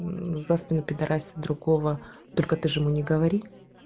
мм за спиной пидорасит другого только ты же ему не говори